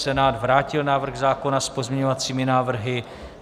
Senát vrátil návrh zákona s pozměňovacími návrhy.